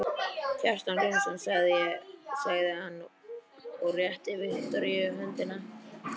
Kjartan Gunnarsson, sagði hann og rétti Viktoríu höndina.